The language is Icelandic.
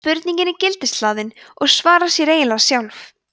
spurningin er gildishlaðin og svarar sér eiginlega sjálf